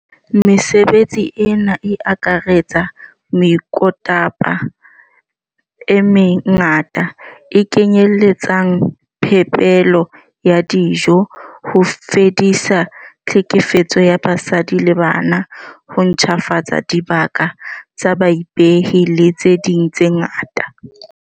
Mesebetsi ena e akaretsa meokotaba e me ngata, e kenyeletsang phepelo ya dijo, ho fedisa tlhekefetso ya basadi le bana, ho ntjhafatsa dibaka tsa baipei le tse ding tse ngata.